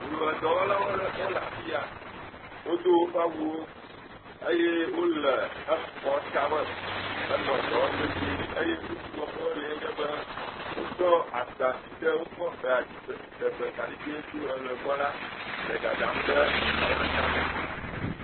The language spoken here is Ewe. Ʋedɔlawo ɖe wo le afi ya. Wodo woƒe awuwo eye wo le exɔ ta me enɔ dɔ wɔm vevie eye nu si wɔm wo le nye be, wotsɔ agba si ke wokɔ hea dziɖegbe kaɖigbe tso eʋe gbɔ la le dadam ɖe exɔ ta me.